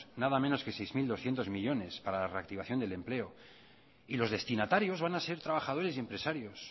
nada menos que seis mil doscientos millónes para la reactivación del empleo y los destinatarios van a ser trabajadores y empresarios